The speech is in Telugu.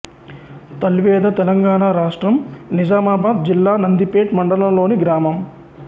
తల్వేద తెలంగాణ రాష్ట్రం నిజామాబాద్ జిల్లా నందిపేట్ మండలంలోని గ్రామం